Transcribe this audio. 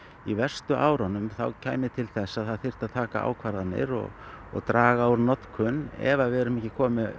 í verstu árunum þá kæmi til þess að það þyrfti að taka ákvarðanir og og draga úr notkun ef að við erum ekki komin með